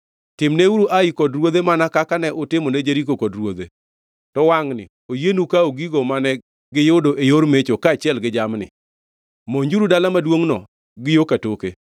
Timneuru Ai kod ruodhe mana kaka ne utimone Jeriko kod ruodhe, to wangʼni oyienu kawo gigo mane giyudo e yor mecho kaachiel gi jamni. Monjuru dala maduongʼno gi yo katoke.”